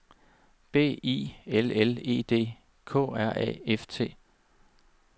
B I L L E D K R A F T